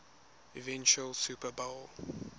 eventual super bowl